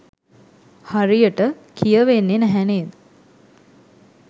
හරියට කියවෙන්නේ නැහැ නේද?